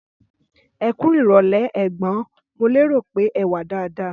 Ẹkú irọlẹ ẹgbọn, mo lérò pé ẹwà dada